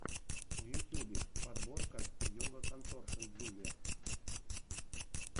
в ютьюбе подборка йога конторшен джулиа